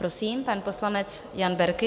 Prosím, pan poslanec Jan Berki.